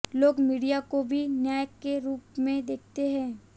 लोग मीडिया को भी न्याय के रूप में देखते हैं